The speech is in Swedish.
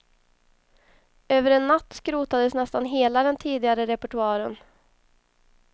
Över en natt skrotades nästan hela den tidigare repertoaren.